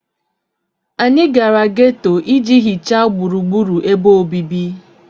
Anyị gara geto iji hichaa gburugburu ebe obibi